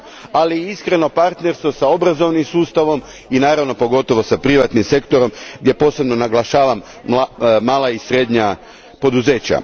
Ali i iskreno partnerstvo s obrazovnim sustavom i naravno pogotovo s privatnim sektorom gdje posebno naglašavam mala i srednja poduzeća.